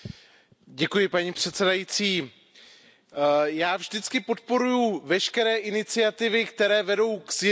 Paní předsedající, já vždycky podporuji veškeré iniciativy, které vedou ke zjednodušení.